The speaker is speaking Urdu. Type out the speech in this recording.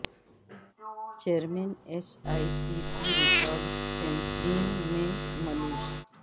chairman S E C P record tampering میں ملوث